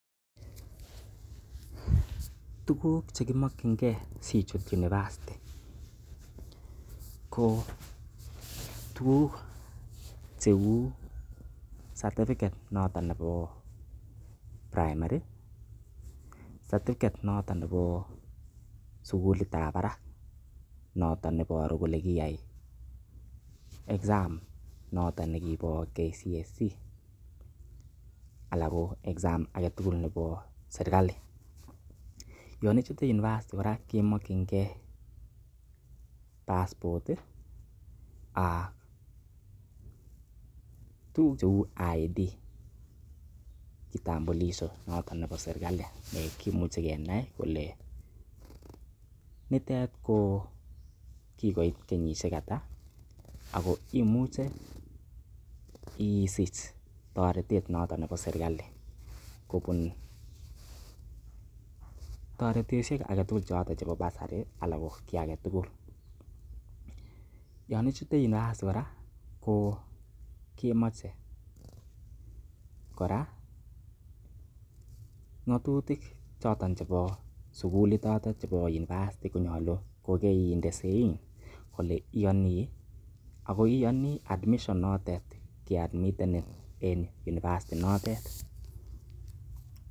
Tuguk che kimokinge sichut university ko tuguk cheu, certificate noton nebo primary, certificate noton nebo sugulitab barak noton neboru kole kirayai exams noton nebo KCSE anan ko exam aage tugul nebo serkali. Yon ichute university kora kemokinge passport , tuguk cheu ID kitambulisho notonnebo serklali nekimuche kenia kole nitet ko kigoit kkenyishek ata ago imuche isich toretet noton nebo serkali kobun toretoshek choton chebo bursary ana ko kiy age tugul yon ichute university kora ko kemoche kora ng'atutik choto chebo sugulit notet nebo university konyolu kokeinde sein kole inyoni ago iyoni admission notet keadmitenin en university notet .